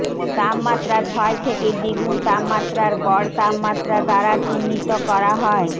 তাপমাত্রা ছয় থেকে দ্বিগুণ তাপমাত্রার গড় তাপমাত্রা দ্বারা চিহ্নিত করা হয়